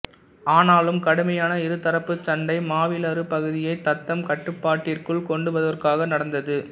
ஆனாலும் கடுமையான இரு தரப்புச் சண்டை மாவிலாறு பகுதியை தத்தம் கட்டுப்பாட்டிற்குள் கொண்டுவருவதற்காக நடந்தது